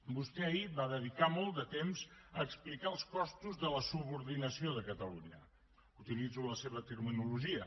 vostè ahir va dedicar molt de temps a explicar els costos de la subordinació de catalunya utilitzo la seva terminologia